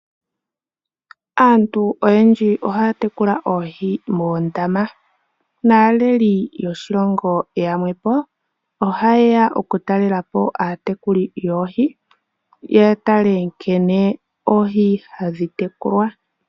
Aantu oyendji ohaya tekula oohi moondama . Naaleli yoshilongo yamwe po ohayeya okutalelapo aatekuli yoohi yatale nkene oohi hadhi tekulwa.